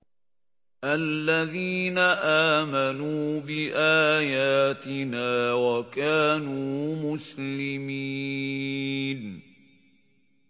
الَّذِينَ آمَنُوا بِآيَاتِنَا وَكَانُوا مُسْلِمِينَ